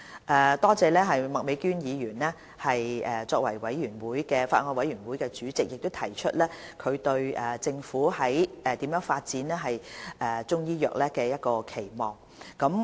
我多謝麥美娟議員以法案委員會主席身份，提出對政府發展中醫藥的期望。